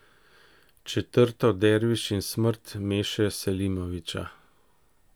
Četrto Derviš in smrt Meše Selimovića.